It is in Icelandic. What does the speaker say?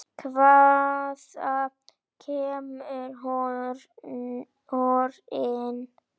Hvaðan kemur horinn?